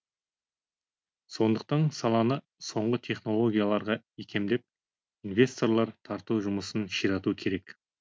сондықтан саланы соңғы технологияларға икемдеп инвесторлар тарту жұмысын ширату керек